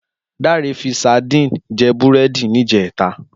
Dare fi sádìn jè búrèdí nijètá